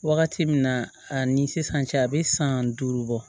Wagati min na a ni sisan cɛ a bɛ san duuru bɔ